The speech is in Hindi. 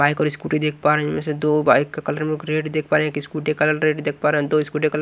बाइक और स्कूटी देख पा रहे हैं इसमें बाइक कलर में एक रेड देख पा रहे हैं एक स्कुटी कलर रेड देख पा रहे हैं दो स्कुटी का कलर --